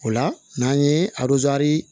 O la n'an ye